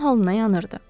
onun halına yanırdı.